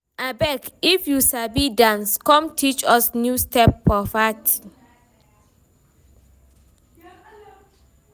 Abeg, if you sabi dance, come teach us new steps for party.